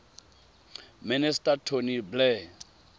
minister tony blair